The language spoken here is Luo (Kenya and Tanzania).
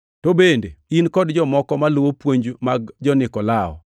To bende in kod jomoko maluwo puonj mag jo-Nikolao.